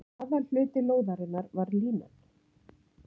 aðalhluti lóðarinnar var línan